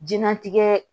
Jɛnatigɛ